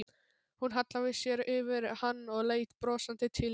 Hún hallaði sér yfir hann og leit brosandi til mín.